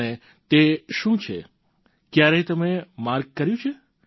અને તે શું છે ક્યારેય તમે માર્ક કર્યું છે